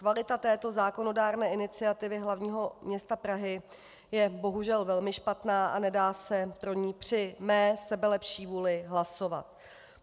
Kvalita této zákonodárné iniciativy hlavního města Prahy je bohužel velmi špatná a nedá se pro ni při mé sebelepší vůli hlasovat.